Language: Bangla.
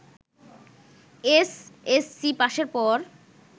এসএসসি পাসের পর